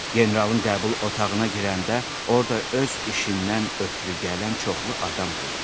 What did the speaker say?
Generalın qəbul otağına girəndə orda öz işindən ötrü gələn çoxlu adam gördü.